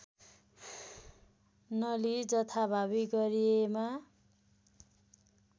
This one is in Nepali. नलिई जथाभावी गरिएमा